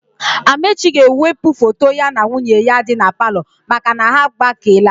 Amaechi ga-ewepụ foto ya na nwunye ya dị na palọ maka na ha agbakeela.